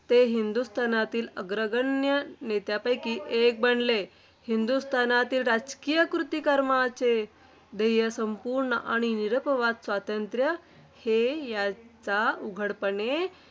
हिंदुस्थानातील अग्रगण्य नेत्यांपैकी एक बनले. हिंदुस्थानातील राजकीय कृतिकार्यक्रमाचे ध्येय ’संपूर्ण आणि निरपवाद स्वातंत्र्य‘ हे ह्याचा उघडपणे,